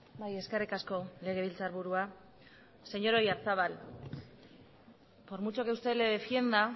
bai eskerrik asko legebiltzarburua señor oyarzabal por mucho que usted le defienda